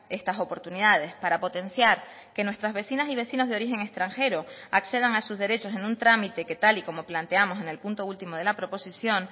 estas oportunidades para potenciar que nuestras vecinas y vecinos de origen extranjero accedan a sus derechos en un trámite que tal y como planteamos en el punto último de la proposición